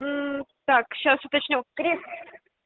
так сейчас уточню крис